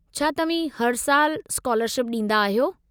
छा तव्हीं हर साल स्कालरशिप ॾींदा आहियो।